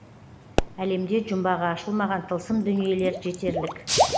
әлемде жұмбағы ашылмаған тылсым дүниелер жетерлік